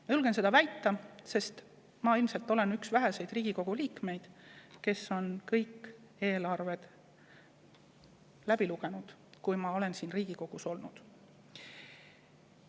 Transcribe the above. Ma julgen seda väita, sest ma olen ilmselt üks väheseid Riigikogu liikmeid, kes on kõik eelarved läbi lugenud – siis, kui ma olen siin Riigikogus.